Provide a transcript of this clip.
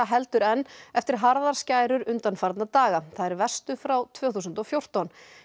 heldur enn eftir harðar skærur undanfarna daga þær verstu frá tvö þúsund og fjórtán